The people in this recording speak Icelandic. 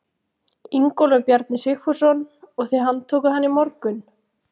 Ingólfur Bjarni Sigfússon: Og þið handtókuð hann í morgun?